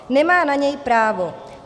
Nemá na něj právo.